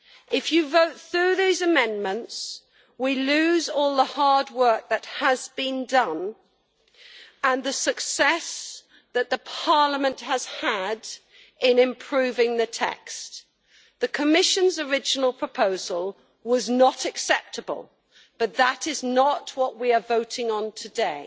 If you vote through those amendments, we lose all the hard work that has been done and the success that Parliament has had in improving the text. The Commission's original proposal was not acceptable, but that is not what we are voting on today.